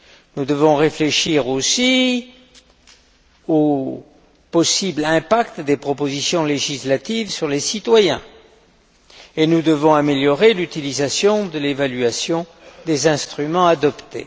Nous devons réfléchir aussi au possible impact des propositions législatives sur les citoyens et nous devons améliorer l'utilisation de l'évaluation des instruments adoptés.